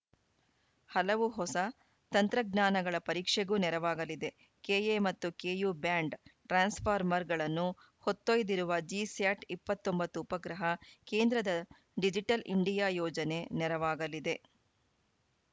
ಹಲವು ಹೊಸ ತಂತ್ರಜ್ಞಾನಗಳ ಪರೀಕ್ಷೆಗೂ ನೆರವಾಗಲಿದೆ ಕೆಎ ಮತ್ತು ಕೆಯು ಬ್ಯಾಂಡ್‌ ಟ್ರಾನ್ಸ್‌ಫಾರ್ಮರ್‌ಗಳನ್ನು ಹೊತ್ತೊಯ್ದಿರುವ ಜಿಸ್ಯಾಟ್‌ ಇಪ್ಪತ್ತ್ ಒಂಬತ್ತು ಉಪಗ್ರಹ ಕೇಂದ್ರದ ಡಿಜಿಟಲ್‌ ಇಂಡಿಯಾ ಯೋಜನೆ ನೆರವಾಗಲಿದೆ